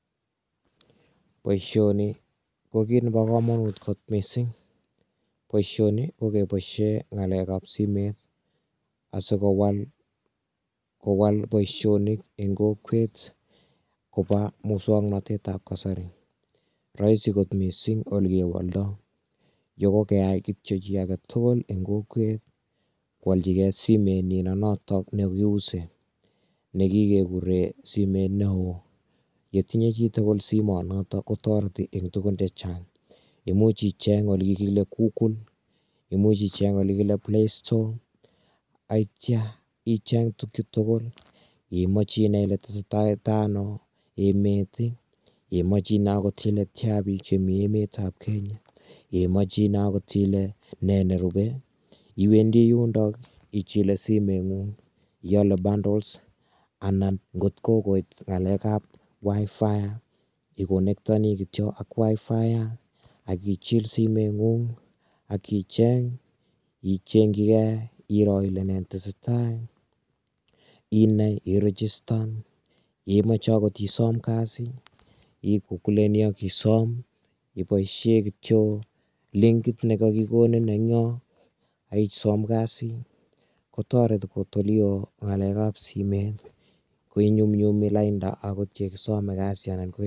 Boisioni ko kit nebo kamanut mising boisioni kokeboisie ngalekab simet asikowal kowal boisionik eng kokwet kobo musoknotetab kasari rahisi kot mising olegewoldoi yekokeai kityo chi aketugul eng kokwet koaljigei simetnyi nenotok kiuse nekikekure simet neo. Yetinye chitugul simonotok kotoreti eng tugun chechang imuch icheng ole kile google imuch icheng ole kile playstore atya icheng tukyu tugul imoche inai ile tesetaita ano emet imoche inai angot ile tia bik chemi emetab kenya imoche inai angot ile ne nerube iwendi yundok ichile simetngung iole bundles anan ngotkokoit ngalekab wifi ikonektoni kityo ak wifi akichil simetngung akichebg ichengjigei iro ile ne netesetai inai iregistan yeimeche agot isom kasi ikukuleni akisom iboisie kityo linkit nekakikonin engyo akisom kasi kotoreti kotolelo ngalekab simet koinyumnyumi lainda agot yekisome kasi anan ko.